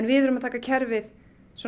við erum að taka kerfið